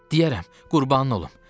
Deyərəm, qurbanın olum.